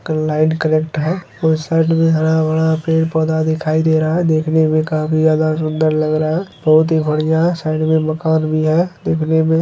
एकर light connect है उस side में हरा-भरा पेड़-पौधा दिखाई दे रहा है देखने में काफी ज्यादा सुंदर लग रहा है बहुत ही बढ़िया है साइड में मकान भी है देखने में --